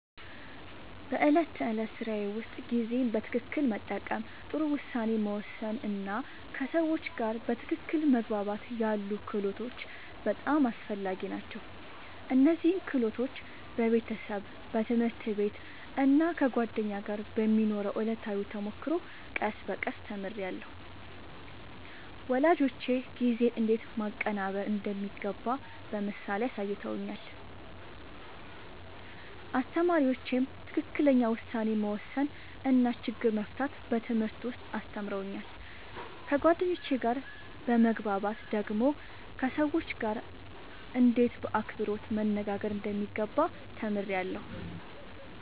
በዕለት ተዕለት ሥራዬ ውስጥ ጊዜን በትክክል መጠቀም፣ ጥሩ ውሳኔ መወሰን እና ከሰዎች ጋር በትክክል መግባባት ያሉ ክህሎቶች በጣም አስፈላጊ ናቸው። እነዚህን ክህሎቶች በቤተሰብ፣ በትምህርት ቤት እና ከጓደኞች ጋር በሚኖረው ዕለታዊ ተሞክሮ ቀስ በቀስ ተምሬያለሁ። ወላጆቼ ጊዜን እንዴት ማቀናበር እንደሚገባ በምሳሌ አሳይተውኛል፣ አስተማሪዎቼም ትክክለኛ ውሳኔ መወሰን እና ችግር መፍታት በትምህርት ውስጥ አስተምረውኛል። ከጓደኞቼ ጋር በመግባባት ደግሞ ከሰዎች ጋርእንዴት በአክብሮት መነጋገር እንደሚገባ ተምሬያለሁ።